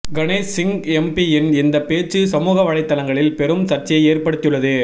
கணேஷ் சிங் எம்பியின் இந்த பேச்சு சமூக வலைத்தளங்களில் பெரும் சர்ச்சையை ஏற்படுத்தியுள்ளது